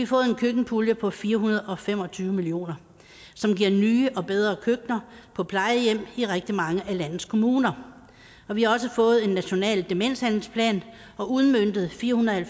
fået en køkkenpulje på fire hundrede og fem og tyve million kr som giver nye og bedre køkkener på plejehjem i rigtig mange af landets kommuner og vi også fået en national demenshandlingsplan og udmøntet fire hundrede og